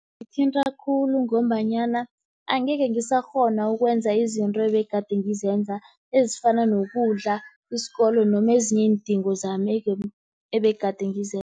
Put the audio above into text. Kungithinta khulu ngombanyana angekhe ngisakghona ukwenza izinto ebegade ngizenza, ezifana nokudla, isikolo, noma ezinye iindingo zami ebegade ngizenza.